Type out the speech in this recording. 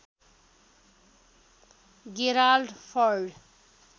Gerald फर्ड